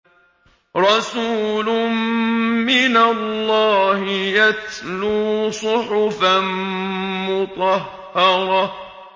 رَسُولٌ مِّنَ اللَّهِ يَتْلُو صُحُفًا مُّطَهَّرَةً